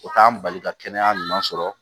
O t'an bali ka kɛnɛya ɲuman sɔrɔ